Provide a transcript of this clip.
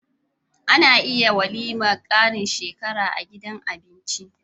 Ana iya yin walimar karin shekara a gidan abinci